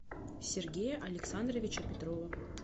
сергея александровича петрова